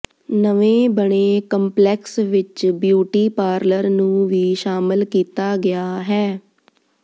ਨਵੇਂ ਬਣੇ ਕੰਪਲੈਕਸ ਵਿੱਚ ਬਿਊਟੀ ਪਾਰਲਰ ਨੂੰ ਵੀ ਸ਼ਾਮਲ ਕੀਤਾ ਗਿਆ ਹੈ